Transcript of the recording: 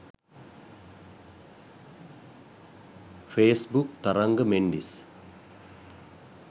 facebook tharanga mendis